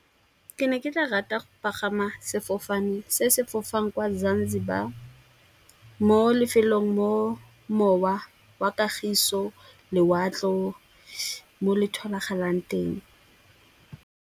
Ke ne ke tla rata go pagama sefofane se sefofane kwa Zanzibar, mo lefelong mo mowa wa kagiso, lewatle mo le tholagalang teng.